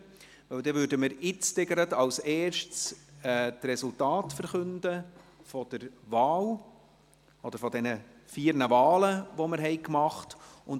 Deshalb werden wir gleich als Erstes die Resultate der vier Wahlen verkünden, welche wir vorgenommen haben.